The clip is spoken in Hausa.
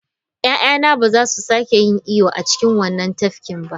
Ya'yana ba za su sake yin iyo a cikin wannan tafkin ba!